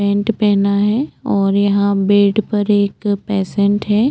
Paint पहना है और यहाँ बेड पर एक पेशेंट है।